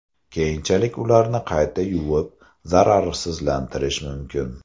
Keyinchalik ularni qayta yuvib, zararsizlantirish mumkin.